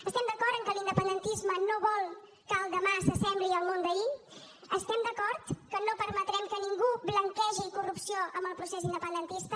estem d’acord en que l’independentisme no vol que el demà s’assembli al món d’ahir estem d’acord que no permetrem que ningú blanquegi corrupció amb el procés independentista